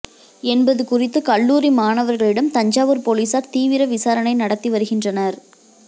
என்பது குறித்து கல்லூரி மாணவர்களிடம் தஞ்சாவூர் போலீஸார் தீவிர விசாரணை நடத்தி வருகின்றனர்